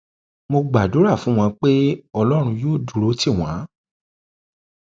mo gbàdúrà fún wọn pé ọlọrun yóò dúró tì wọn